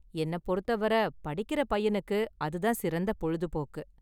என்ன பொறுத்தவரை படிக்குற பையனுக்கு, அது தான் சிறந்த பொழுதுபோக்கு.